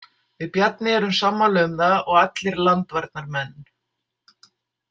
Við Bjarni erum sammála um það og allir landvarnarmenn.